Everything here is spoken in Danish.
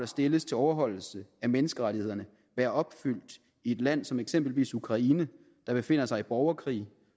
stilles til overholdelse af menneskerettighederne være opfyldt i et land som eksempelvis ukraine der befinder sig i borgerkrig